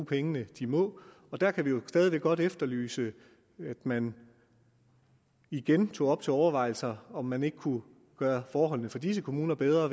penge de må der kan vi jo stadig væk godt efterlyse at man igen tog op til overvejelse om man ikke kunne gøre forholdene for disse kommuner bedre